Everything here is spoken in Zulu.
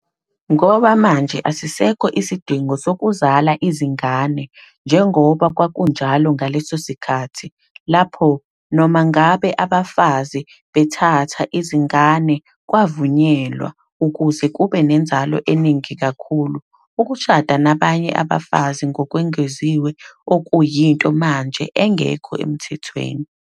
Ngoba manje asisekho isidingo sokuzala izingane, njengoba kwakunjalo ngaleso sikhathi, lapho, noma ngabe abafazi bethatha izingane, kwavunyelwa, ukuze kube nenzalo eningi kakhulu, ukushada nabanye abafazi ngokwengeziwe, okuyinto manje engekho emthethweni.